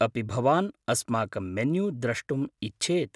अपि भवान् अस्माकं मेन्यू द्रष्टुम् इच्छेत्?